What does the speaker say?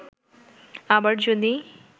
আবার যদি